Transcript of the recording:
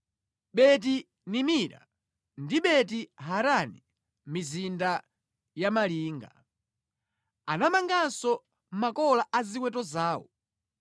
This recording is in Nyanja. Beti-Nimira ndi Beti-Harani mizinda ya malinga. Anamanganso makola a ziweto zawo.